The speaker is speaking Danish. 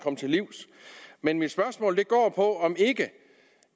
til livs men mit spørgsmål går på om ikke